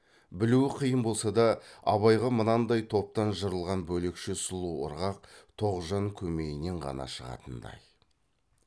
білуі қиын болса да абайға мынандай топтан жырылған бөлекше сұлу ырғақ тоғжан көмейінен ғана шығатындай